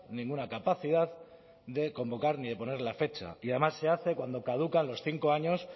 ninguna capacidad de convocar ni de poner la fecha y además se hace cuando caducan los cinco años